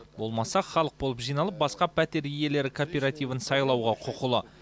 болмаса халық болып жиналып басқа пәтер иелері кооперативін сайлауға құқылы